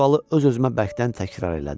Bu sualı öz-özümə bərkdən təkrar elədim.